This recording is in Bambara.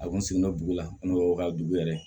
A kun sigilen don dugu la n'o ka dugu yɛrɛ